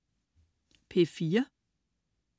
P4: